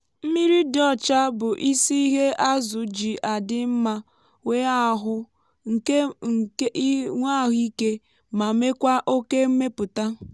mmiri dị ọcha bụ isi ihe azụ ji adị mma nwé ahụ ike ma mekwaa oke mmepụta.